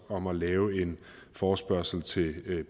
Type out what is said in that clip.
om at lave en forespørgsel til